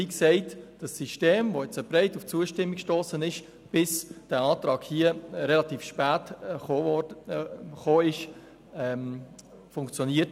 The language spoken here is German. Das System, das auf breite Zustimmung gestossen ist, bis dieser Antrag relativ spät kam, funktioniert.